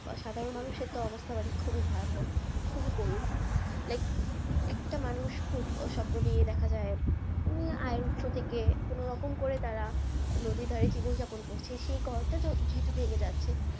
সাধারণ মানুষের তো এবারে খুবই ভয়াবহ খুবই করুণ একটা মানুষ খুব স্বপ্ননিয়ে দেখা যাই আহ আয় উৎস থেকে কোনোরকম করে তারা যদি ধারে জীবনযাপন করছে সেই ঘরটা যেহেতু ভেঙে যাচ্ছে,